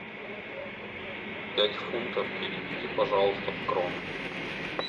пять фунтов переведи пожалуйста в кроны